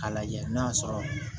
A lajɛ n'a sɔrɔ